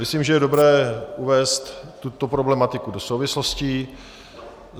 Myslím, že je dobré uvést tuto problematiku do souvislostí.